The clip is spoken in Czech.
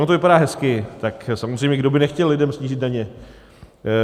Ono to vypadá hezky, tak samozřejmě kdo by nechtěl lidem snížit daně?